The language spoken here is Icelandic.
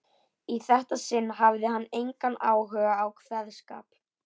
Í þetta sinn hafði hann engan áhuga á kveðskap.